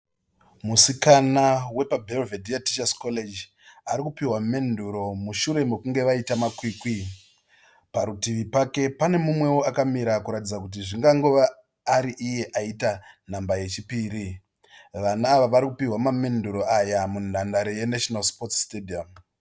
Musikana wepaBelvedere Teachers College. Arikupiwa menduru mushure mekunge waita makwikwi. Parutivi pake pane mumweo akamira kuratidza kuti zvingangova ari iye aita nhamba yechipiri. Vana ava varikupiwa mamenduru aya munhandare yeNational Sports Stadium.